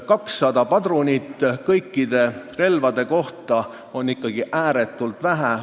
200 padrunit kõikide relvade kohta on ikkagi ääretult vähe.